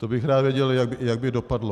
To bych rád věděl, jak by dopadlo.